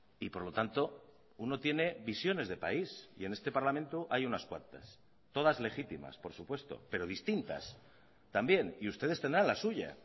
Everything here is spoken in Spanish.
y por lo tanto uno tiene visiones de país y en este parlamento hay unas cuantas todas legítimas por supuesto pero distintas también y ustedes tendrán la suya